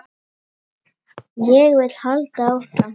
Ég vil halda áfram.